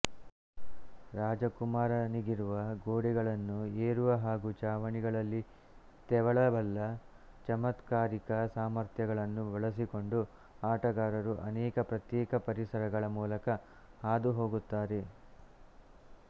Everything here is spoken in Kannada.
ರಾಜಕುಮಾರನಿಗಿರುವ ಗೋಡೆಗಳನ್ನು ಏರುವ ಹಾಗೂ ಛಾವಣಿಗಳಲ್ಲಿ ತೆವಳಬಲ್ಲ ಚಮತ್ಕಾರಿಕ ಸಾಮರ್ಥ್ಯಗಳನ್ನು ಬಳಸಿಕೊಂಡು ಆಟಗಾರರು ಅನೇಕ ಪ್ರತ್ಯೇಕ ಪರಿಸರಗಳ ಮೂಲಕ ಹಾದುಹೋಗುತ್ತಾರೆ